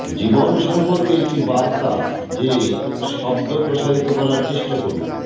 জীবন সম্পর্কে একটি বার্তা যে শব্দ প্রসারিত করার চেষ্টা করুন